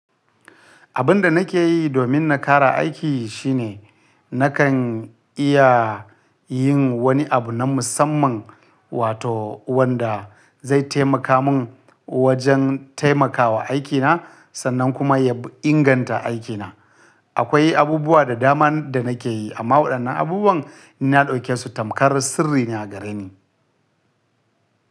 Abin da nake yi domin na kara aiki shine nakan iya yin wani abu na musamman wato wanda zai taimaka mun wajen taimakawa aikina sannan kuma ya inganta aikina. Akwai abubuwa da dama da nake yi amma waɗannan abubuwan ni na ɗauke su tamkar sirri ne a gare ni.